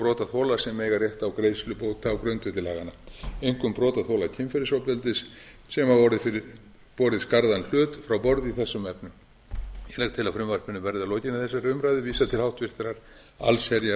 brotaþola sem eiga rétt á greiðslu bóta á grundvelli laganna einkum brotaþola kynferðisofbeldis sem hafa borið skarðan hlut frá borði í þessum efnum ég legg til að frumvarpinu verði að lokinni þessari umræðu vísað til háttvirtrar allsherjar